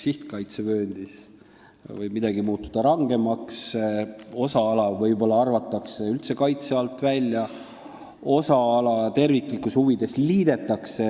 Sihtkaitsevööndis võib mingi tingimus muutuda rangemaks, võib juhtuda, et osa alast arvatakse üldse kaitse alt välja, mingid alad terviklikkuse huvides aga liidetakse.